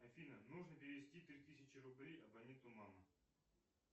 афина нужно перевести три тысячи рублей абоненту мама